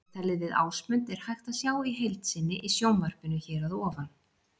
Viðtalið við Ásmund er hægt að sjá í heild sinni í sjónvarpinu hér að ofan.